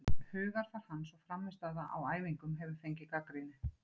Hugarfar hans og frammistaða á æfingum hefur fengið gagnrýni.